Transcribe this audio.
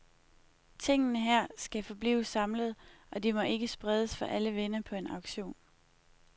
Tingene her skal forblive samlet, og de må ikke spredes for alle vinde på en auktion.